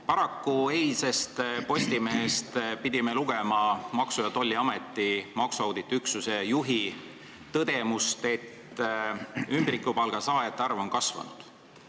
Paraku pidime eilsest Postimehest lugema Maksu- ja Tolliameti maksuauditi üksuse juhi tõdemust, et ümbrikupalga saajate arv on kasvanud.